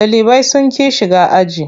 Ɗalibai sun ƙi shiga aji.